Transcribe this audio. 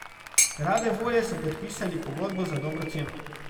Rade volje so podpisali pogodbo za dobro ceno.